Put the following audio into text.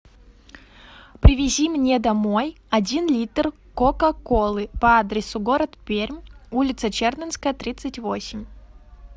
привези мне домой один литр кока колы по адресу город пермь улица чердынская тридцать восемь